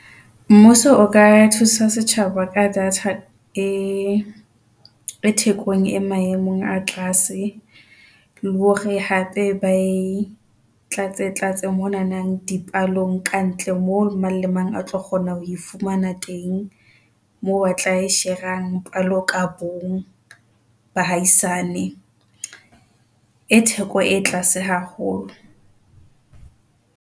Mmuso o ka thusa setjhaba ka data e thekong, e maemong a tlase le hore hape ba e tlatse-tlatse. Monana di palong ka ntle mo mang le mang a tlo kgona ho fumana teng moo ba tla share-rang palo ka bong bahaisane e theko e tlase haholo.